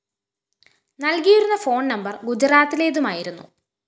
നല്‍കിയിരുന്ന phone number ഗുജറാത്തിലേതുമായിരുന്നു